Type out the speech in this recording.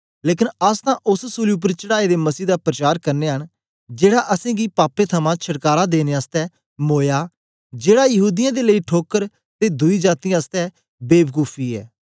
लेकन अस तां ओस सूली उपर चढ़ाए दे मसीह दा प्रचार करनयां न जेड़ा असेंगी पापें थमां छटकारा देने आसतै मोया जेड़ा यहूदीयें दे लेई ठोकर ते दुई जातीयें आसतै बेवकुखुफी ऐ